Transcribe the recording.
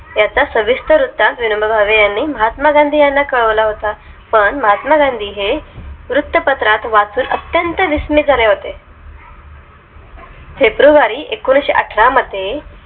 त्याचा सविस्तर त्या विनोबा भावे यांनी महात्मा गांधी यांना कळवला होता पण महात्मा गांधी हे वृत्तपत्रात वाचून अत्यंत विस्मित झाले होते february एकोणीशेअठरा मध्ये